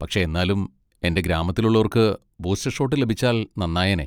പക്ഷെ എന്നാലും എൻ്റെ ഗ്രാമത്തിലുള്ളോർക്ക് ബൂസ്റ്റർ ഷോട്ട് ലഭിച്ചാൽ നന്നായേനേ.